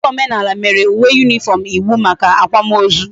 Ufodu omenala mere uwe uniform iwu maka akwa ma ozu